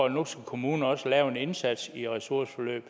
at nu skal kommunerne også gøre en indsats i ressourceforløb